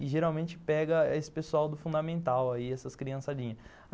E geralmente pega esse pessoal do fundamental aí, essas criançadinhas.